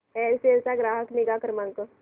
Aircel चा ग्राहक निगा क्रमांक